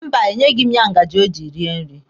Mba, e nyeghị m ya ngaji o ji rie nri.